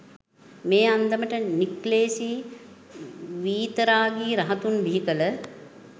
මේ අන්දමට නික්ලේෂි වීතරාගි රහතුන් බිහිකළ